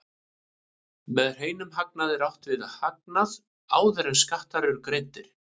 Með hreinum hagnaði er átt við hagnað áður en skattar eru greiddir.